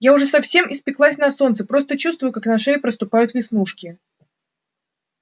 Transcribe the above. я уже совсем испеклась на солнце просто чувствую как на шее проступают веснушки